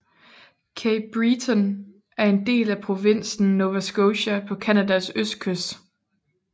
Cape Breton er en del af provinsen Nova Scotia på Canadas østkyst